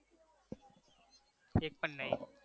એક પણ નઈ